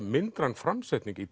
myndræn framsetning í